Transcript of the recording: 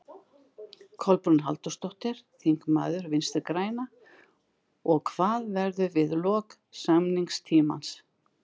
Kolbrún Halldórsdóttir, þingmaður Vinstri-grænna: Og hvað verður við lok samningstímans?